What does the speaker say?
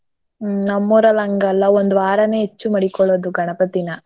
ಹ್ಮ್ ನಮ್ಮ್ ಊರಲ್ಲ್ ಹಂಗಲ್ಲ ಒಂದ್ ವಾರನೇ ಹೆಚ್ಚು ಮಡಿಕೊಳ್ಳೋದು ಗಣಪತಿನಾ.